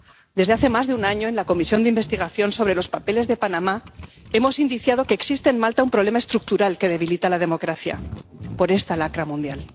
Desde hace más de un año, en la comisión de investigación sobre los papeles de Panamá hemos indiciado que existe en Malta un problema estructural que debilita la democracia, por esta lacra mundial.